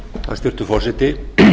hæstvirtur forseti